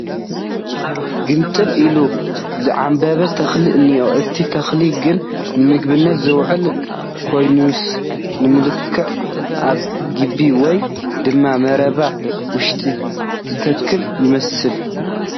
ግምጥል ኢሉ ዝዓምበበ ተኽሉ እንኤ ፡ እቲ ተኽሊ ግን ንምግብነት ዝውዕል ከይኮነስ ንመልክዕ ኣብ ግቢ ወይ ድማ መረባ ውሽጢ ዝትከል ይመስል ።